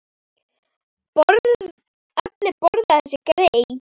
Allir borða þessi grey.